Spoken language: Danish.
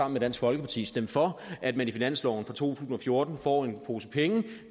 med dansk folkeparti stemt for at man i finansloven for to tusind og fjorten får en pose penge til